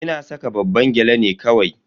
Ina saka babban gyale ne kawai.